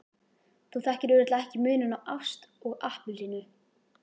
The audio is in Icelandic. Þú þekkir örugglega ekki muninn á ást og appelsínu.